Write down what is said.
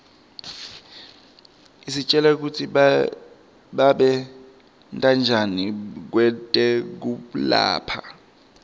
isitjela kutsi babentanjani kwetekulapha